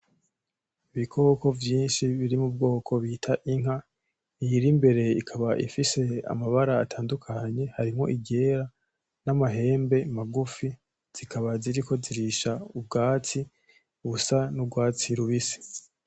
Ibikoko vyinshi biri mubwoko bita inka, iyiri imbere ikaba ifise amabara atandukanye harimwo iryera n'amahembe magufi, zikaba ziriko zirisha ubwatsi busa n'urwatsi rubisi.